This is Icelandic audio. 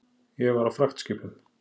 Ég var á fragtskipum.